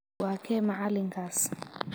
Waa kee macalinkaas?